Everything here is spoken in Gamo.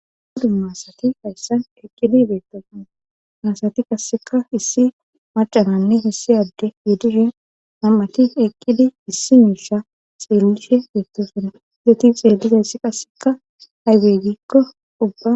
Umu aasati hayssan eqqidi beettosana ha aasati qasseka issi macananne essiy adde gidishe nam7ati eqqidi issi miisha xeellishe beettosona eti xeellizayssi qasseka haybey giikko ubba